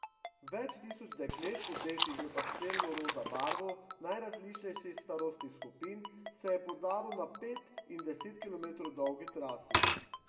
Več tisoč deklet, odetih v pastelno roza barvo, najrazličnejših starostnih skupin se je podalo na pet in deset kilometrov dolgi trasi.